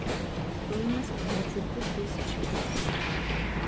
стоимость двадцати тысяч песо